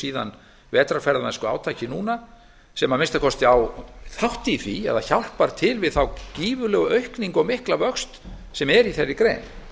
síðan vetrarferðamennskuátakið núna sem að minnsta kosti á þátt í því eða hjálpar til við þá gífurlegu aukningu og mikla vöxt sem er í þeirri grein